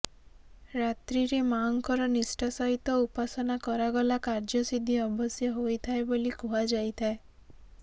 ରାତ୍ରିରେ ମାଆଙ୍କର ନିଷ୍ଠା ସହିତ ଉପାସନା କରାଗଲା କାର୍ଯ୍ୟସିଦ୍ଧି ଅବଶ୍ୟ ହୋଇଥାଏ ବୋଲି କୁହାଯାଇଥାଏ